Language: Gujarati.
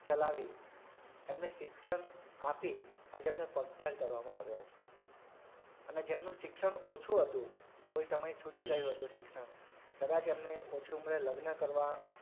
ચલાવી એમને શિક્ષણ આપી આજે એમને પગભેર કરવામાં આવ્યા છે અને જેમનું શિક્ષણ ઓછું હતું કોઈ સમયે છૂટી ગયું હતું શિક્ષણ કદાચ એમની ઓછી ઉમરે લગ્ન કરવાં,